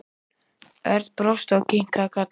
Örn brosti og kinkaði kolli.